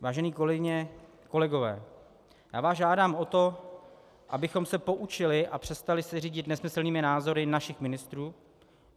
Vážené kolegyně, kolegové, já vás žádám o to, abychom se poučili a přestali se řídit nesmyslnými názory našich ministrů.